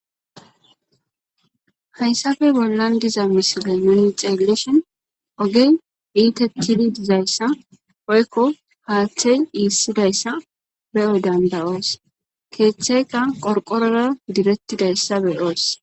hayssafey bollan diza misile muni xeeleshin ogey iite tidi dizayssa poykko haaththey iissidayssa be7oy dandayoos keeththeykka qorqorora direttidayssa beyoos